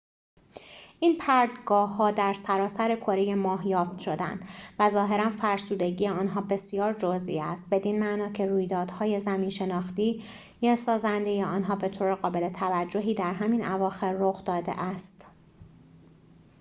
این پرتگاه‌ها در سراسر کره ماه یافت شدند و ظاهراً فرسودگی آنها بسیار جزئی است بدین معنا که رویدادهای زمین‌شناختی سازنده آنها به‌طور قابل توجهی در همین اواخر رخ داده است